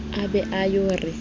a be a yo re